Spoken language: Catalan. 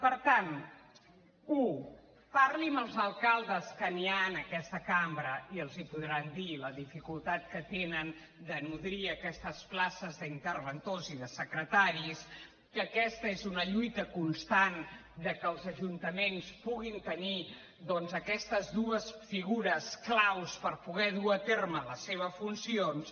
per tant u parli amb els alcaldes que n’hi ha en aquesta cambra i li podran dir la dificultat que tenen de nodrir aquestes places d’interventors i de secretaris que aquesta és una lluita constant que els ajuntaments puguin tenir doncs aquestes dues figures clau per poder dur a terme les seves funcions